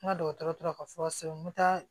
N ka dɔgɔtɔrɔ tora ka furaw sɛbɛn n bɛ taa